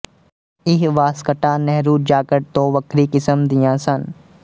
ਇਹ ਵਾਸਕਟਾਂ ਨਹਿਰੂ ਜਾਕਟ ਤੋਂ ਵੱਖਰੀ ਕਿਸਮ ਦੀਆਂ ਸਨ